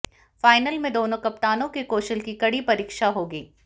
final में दोनों कप्तानों के कौशल की कड़ी परीक्षा होगी